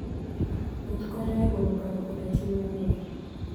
Wuoth konyo e golo paro koda chuny mool.